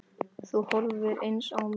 Þú horfir eins á mig.